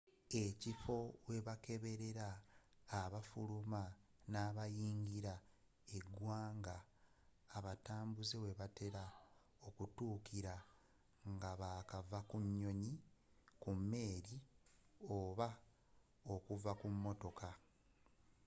ekifo ewakebererwa abafuluma nabayingira eggwanga abatambuze webatera okutuukira ngabakava ku nnyonyi ku mmeeri oba okuva ku mmotoka